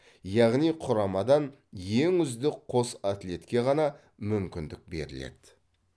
яғни құрамадан ең үздік қос атлетке ғана мүмкіндік беріледі